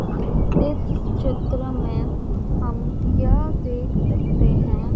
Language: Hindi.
इस चित्र में हम यह देख सकते हैं।